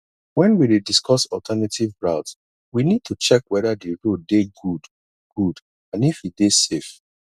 when we dey discuss alternative route we need to check weda di road dey good good and if e dey safe